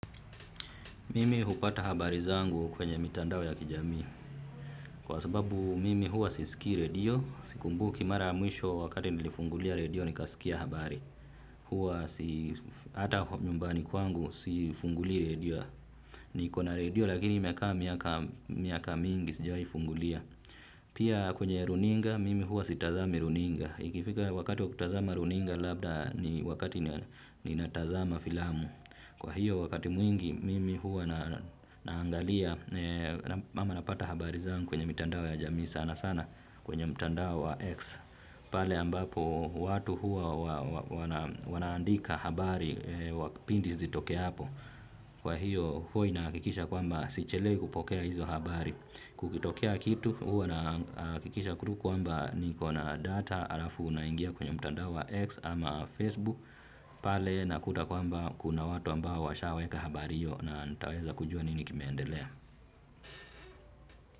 Mimi hupata habari zangu kwenye mitandao ya kijamii. Kwa sababu mimi huwa sisikii radio, sikumbuki mara ya mwisho wakati nilifungulia radio nikasikia habari. Huwa hata nyumbani kwangu sifungulii radio. Nikona radio lakini imekaa miaka miaka mingi sijai fungulia. Pia kwenye runinga, mimi huwa sitazami runinga. Ikifika wakati wa kutazama runinga labda ni wakati ninatazama filamu. Kwa hiyo wakati mwingi mimi huwa naangalia ama napata habari zangu kwenye mitandao ya jamii sana sana. Kwenye mtandao wa X Pale ambapo watu huwa wanaandika habari pindi zitoke hapo. Kwa hiyo huwa inahakikisha kwamba sichelewi kupokea hizo habari kukitokea kitu huwa nahakikisha tu kwamba nikona data halafu naingia kwenye mtandao wa X ama Facebook pale nakuta kwamba kuna watu ambao washaweka habari hiyo na nitaweza kujua nini kimeendelea.